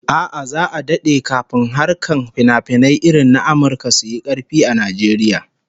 A'a, za'a dade kafin harkar finafinai irin na Amurka su yi karfi a Najeriya